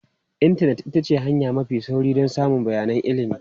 Intanet ita ce hanya mafi sauri don samun bayanan ilimi.